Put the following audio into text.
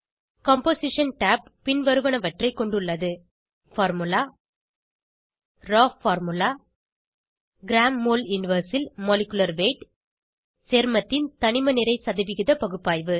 composition tab பின்வருவனவற்றைக் கொண்டுள்ளது formula raw formula gமோல் 1 ல் மாலிகுலர் வெய்த் grammole இன்வெர்ஸ் சேர்மத்தின் தணிம நிறை சதவிகித பகுப்பாய்வு